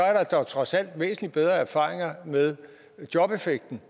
er der dog trods alt væsentlig bedre erfaringer med jobeffekten